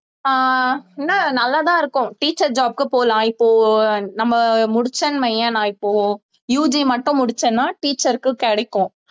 ஆஹ் என்ன நல்லா தான் இருக்கும் teacher job க்கு போலாம் இப்போ நம்ம முடிச்சேன்னு வையேன் நான் இப்போ UG மட்டும் முடிச்சன்னா teacher க்கு கிடைக்கும்